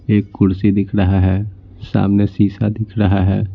एक कुर्सी दिख रहा है सामने शीशा दिख रहा है।